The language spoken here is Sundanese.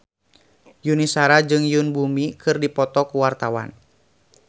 Yuni Shara jeung Yoon Bomi keur dipoto ku wartawan